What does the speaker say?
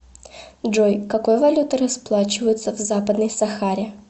джой какой валютой расплачиваются в западной сахаре